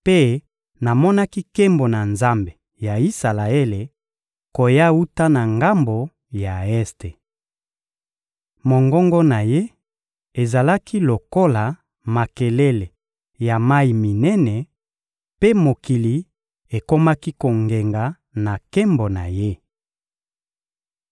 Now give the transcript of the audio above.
mpe namonaki nkembo na Nzambe ya Isalaele koya wuta na ngambo ya este. Mongongo na Ye ezalaki lokola makelele ya mayi minene, mpe mokili ekomaki kongenga na nkembo na Ye.